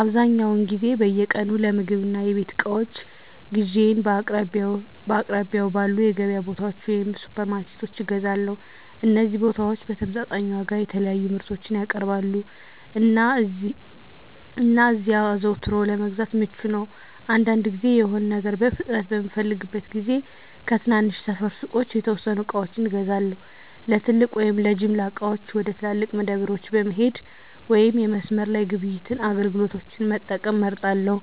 አብዛኛውን ጊዜ በየቀኑ ለምግብ እና የቤት እቃዎች ግዢዬን በአቅራቢያው ባሉ የገበያ ቦታዎች ወይም ሱፐርማርኬቶች እገዛለሁ። እነዚህ ቦታዎች በተመጣጣኝ ዋጋ የተለያዩ ምርቶችን ያቀርባሉ, እና እዚያ አዘውትሮ ለመግዛት ምቹ ነው. አንዳንድ ጊዜ፣ የሆነ ነገር በፍጥነት በምፈልግበት ጊዜ ከትናንሽ ሰፈር ሱቆች የተወሰኑ ዕቃዎችን እገዛለሁ። ለትልቅ ወይም ለጅምላ ዕቃዎች፣ ወደ ትላልቅ መደብሮች መሄድ ወይም የመስመር ላይ ግብይት አገልግሎቶችን መጠቀም እመርጣለሁ፣